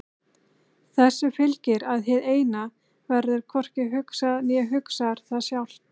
Þessu fylgir að hið Eina verður hvorki hugsað né hugsar það sjálft.